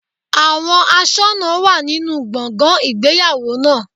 Àwọn aṣọ́nà wà nínú gbọ̀ngàn ìgbéyàwó náà.